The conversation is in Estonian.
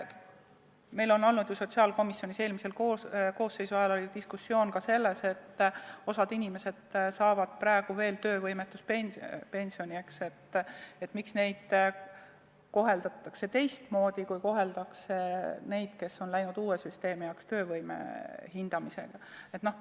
Meil oli sotsiaalkomisjonis eelmise koosseisu ajal diskussioon ka selle üle, et osa inimesi saab praegu veel töövõimetuspensioni ja miks neid koheldakse teistmoodi, kui koheldakse neid, kes lähevad uue süsteemi alla, töövõime hindamise alla.